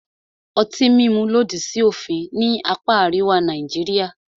Ọtí mímu lòdì sí òfin ní apá àríwá Nàìjíríà.